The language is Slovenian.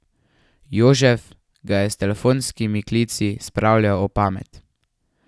Jožef ga je s telefonskimi klici spravljal ob pamet.